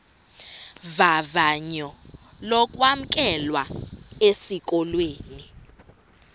vavanyo lokwamkelwa esikolweni